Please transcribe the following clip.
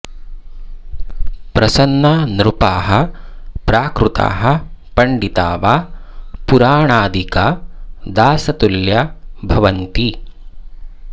प्रसन्ना नृपाः प्राकृताः पण्डिता वा पुराणादिका दासतुल्या भवन्ति